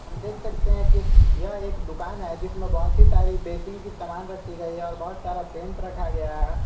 हम देख सकते हैं कि यह एक दुकान है जिसमें बहुत ही सारी बेसिंग की समान रखी गई है और बहुत सारा पेंट रखा गया है।